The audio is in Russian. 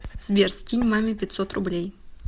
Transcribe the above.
сбер скинь маме пятьсот рублей